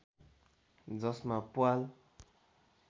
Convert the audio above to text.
जसमा प्वाल